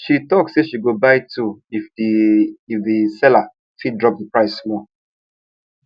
she talk say she go buy two if the if the seller fit drop the price small